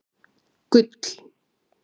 Gull